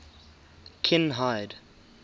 kinhide